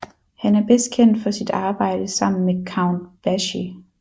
Han er bedst kendt for sit arbejde sammen med Count Basie